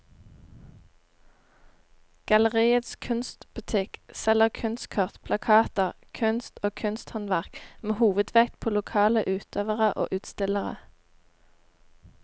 Galleriets kunstbutikk selger kunstkort, plakater, kunst og kunsthåndverk med hovedvekt på lokale utøvere og utstillere.